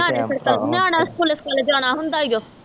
ਨਿਆਣਿਆਂ ਸਕੂਲੇ ਸਕੂਲੇ ਜਾਣਾ ਹੁੰਦਾ ਈ ਓ